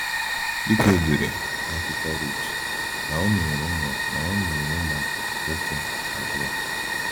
Dị ka edere n’akwụkwọ Rut, Naomi nwere ụmụ Naomi nwere ụmụ nwoke abụọ.